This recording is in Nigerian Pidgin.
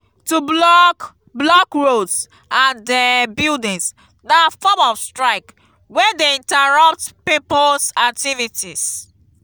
to block block roads ande buildings na form of strike wey de interupt pipo's activities